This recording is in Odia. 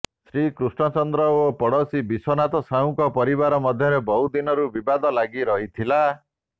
କୃଷ୍ଣଚନ୍ଦ୍ର ଓ ପଡ଼ୋଶୀ ବିଶ୍ୱନାଥ ସାହୁଙ୍କ ପରିବାର ମଧ୍ୟରେ ବହୁଦିନରୁ ବିବାଦ ଲାଗିରହିଥିଲା